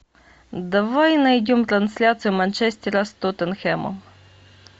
давай найдем трансляцию манчестера с тоттенхэмом